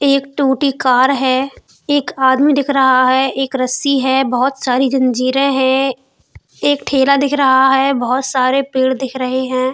एक टूटी कार है एक आदमी दिख रहा है एक रस्सी है बहुत सारी जंजीरे हैं। एक ठेला दिख रहा है बहुत सारे पेड़ दिख रहे हैं।